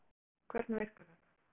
Höskuldur Kári: Hvernig virkar þetta?